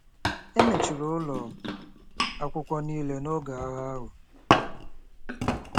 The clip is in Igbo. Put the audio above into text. E mechiri ụlọ akwụkwọ niile n'oge agha ahụ.